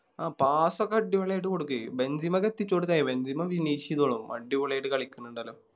ആ Pass ഒക്കെ അടിപൊളിയായിട്ട് കൊടുക്കേ ബെൻസിമൊക്കെ എത്തിച്ചോടുത്ത തി ബെൻസീമും വിനീഷ് ചെയ്തോളും അടിപൊളിയായിട്ട് കളിക്കണിണ്ടല്ലോ